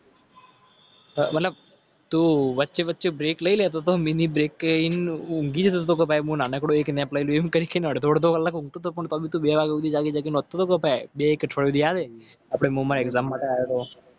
તું વચ્ચે વચ્ચે બ્રેક લઈ લે તો તો મીની બ્રેકીને અડધો અડધો